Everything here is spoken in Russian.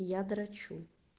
я дрочу